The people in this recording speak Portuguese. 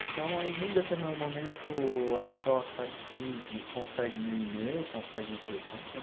Então, aí, num determinado momento, a Choca me consegue meu e-mail, consegue meu telefone.